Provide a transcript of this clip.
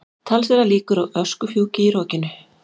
Talsverðar líkur á öskufjúki í rokinu